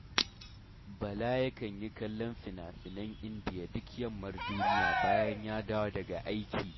Bala yakan yi kallon finafinan Indiya duk yammar duniya bayan ya dawo daga aiki